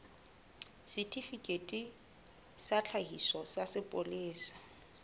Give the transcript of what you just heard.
setifikeiti sa tlhakiso sa sepolesa